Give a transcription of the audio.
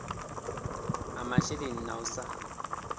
ha masheleni na u sa